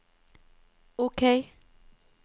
OK